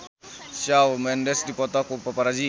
Shawn Mendes dipoto ku paparazi